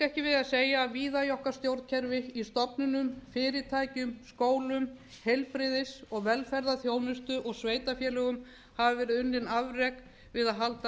ekki við að segja að víða í okkar stjórnkerfi í stofnunum fyrirtækjum skólum heilbrigðis og velferðarþjónustu og sveitarfélögum hafa verið unnin afrek við að halda